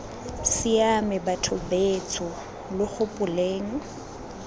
siame batho betsho lo gopoleng